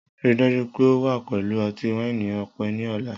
Rii daju pe o wa pẹlu ọti-waini ọpẹ ni ọla!